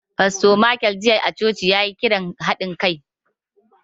Fasto Michael jiya a coci, ya yi kiran haɗin kai.